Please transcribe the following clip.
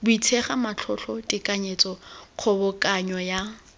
buisega matlotlo tekanyetso kgobokanyo ya